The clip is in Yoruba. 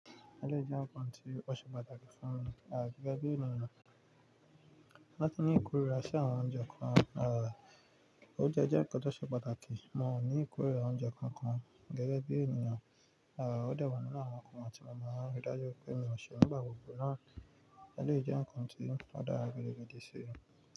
Lẹ́yìn jẹ́ nǹkan tí ó ṣe pàtàkì fún mi. Àgẹ́gẹ́ bí ènìyàn, láti ní ìkórìíra sí àwọn oúnjẹ kan. Rárá, óunjẹ́ jẹ́ nkan tó ṣe pàtàkì. Mo ní ìkórìíra oúnjẹ kan kan gẹ́gẹ́ bí ènìyàn. Rárá, ó dà wọ̀ nínú àwọn nǹkan tí mo máa ń rí dájú pé mi ò ṣe nígbà gbogbo náà. Lẹ́yìn jẹ́ nǹkan tí ó dára gidi gan sé.